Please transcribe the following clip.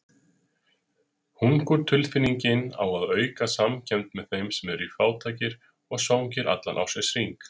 Hungurtilfinningin á að auka samkennd með þeim sem eru fátækir og svangir allan ársins hring.